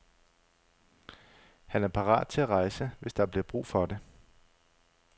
Han er parat til at rejse, hvis der bliver brug for det.